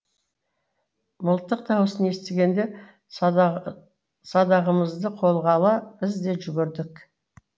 мылтық даусын естігенде садағымызды қолға ала біз де жүгірдік